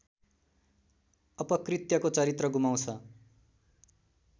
अपकृत्यको चरित्र गुमाउँछ